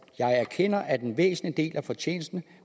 jeg erkender at en væsentlig del af fortjenesten